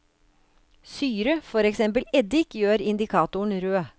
Syre, for eksempel eddik, gjør indikatoren rød.